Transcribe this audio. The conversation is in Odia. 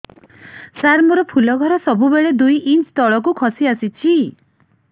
ସାର ମୋର ଫୁଲ ଘର ସବୁ ବେଳେ ଦୁଇ ଇଞ୍ଚ ତଳକୁ ଖସି ଆସିଛି